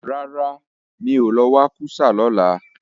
Rárá ooo, mi ò lọ wa kú sá ní ọ̀la